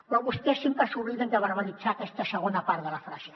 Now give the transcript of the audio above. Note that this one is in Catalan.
però vostès sempre s’obliden de verbalitzar aquesta segona part de la frase